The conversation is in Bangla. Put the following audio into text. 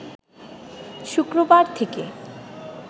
শুক্রবার থেকে